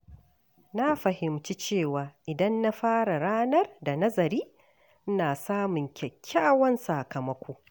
Na fahimci cewa idan na fara ranar da nazari, ina samun kyakkyawan sakamako.